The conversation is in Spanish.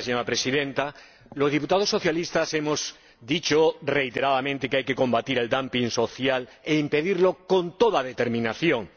Señora Presidenta, los diputados socialistas hemos dicho reiteradamente que hay que combatir el social e impedirlo con toda determinación,